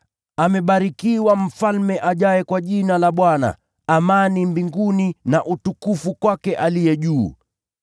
“Amebarikiwa Mfalme ajaye kwa Jina la Bwana!” “Amani mbinguni na utukufu huko juu sana.”